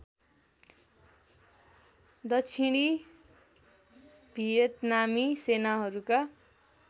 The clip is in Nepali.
दक्षिणी भियतनामी सेनाहरूका